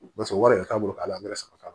Barisa wari le t'a bolo k'a la an be sɔrɔ ka